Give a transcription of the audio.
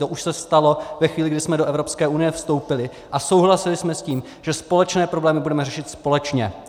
To už se stalo ve chvíli, kdy jsme do Evropské unie vstoupili a souhlasili jsme s tím, že společné problémy budeme řešit společně.